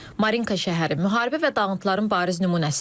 Marinka şəhəri müharibə və dağıntıların bariz nümunəsidir.